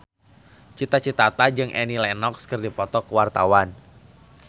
Cita Citata jeung Annie Lenox keur dipoto ku wartawan